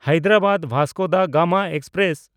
Hyderabad Vasco da Gama express